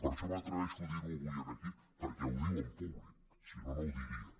per això m’atreveixo a dirho avui aquí perquè ho diu en públic si no no ho diria